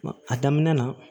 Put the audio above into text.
A daminɛ na